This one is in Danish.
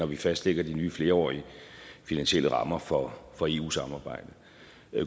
vi fastlægger de nye flerårige finansielle rammer for for eu samarbejdet